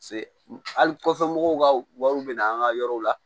Se hali kɔfɛ mɔgɔw ka wariw bɛ na an ka yɔrɔw la